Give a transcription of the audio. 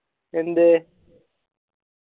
എന്തേ